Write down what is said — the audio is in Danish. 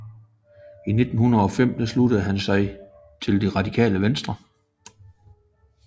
I 1905 sluttede han sig til Det Radikale Venstre